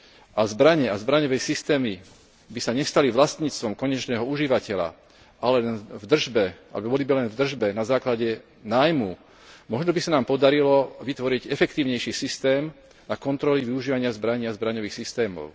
a zbrane a zbraňové systémy by sa nestali vlastníctvom konečného užívateľa, ale boli by len v držbe na základe nájmu, možno by sa nám podarilo vytvoriť efektívnejší systém na kontroly využívania zbraní a zbraňových systémov.